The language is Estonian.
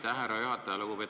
Aitäh, härra juhataja!